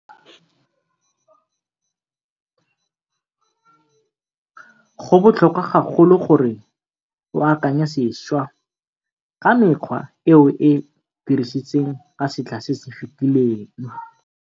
Go botlhokwa gagolo gore o akanye sešwa ka mekgwa e o e dirisitseng ka setlha se se fetileng.